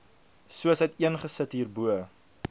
soos uiteengesit hierbo